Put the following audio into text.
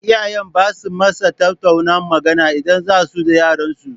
Iyaye basa masa tattauna magana idan zasu da yaran su